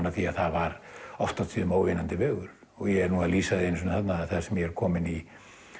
að því að það var oft og tíðum óvinnandi vegur ég er að lýsa því þarna þar sem ég er kominn í